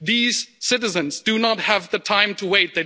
These citizens do not have the time to wait.